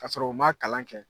K'a sɔrɔ u ma kalan kɛ